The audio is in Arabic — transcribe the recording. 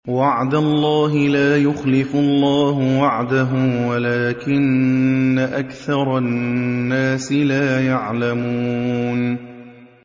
وَعْدَ اللَّهِ ۖ لَا يُخْلِفُ اللَّهُ وَعْدَهُ وَلَٰكِنَّ أَكْثَرَ النَّاسِ لَا يَعْلَمُونَ